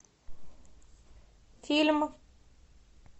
фильм